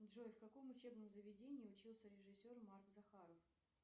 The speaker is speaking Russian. джой в каком учебном заведении учился режиссер марк захаров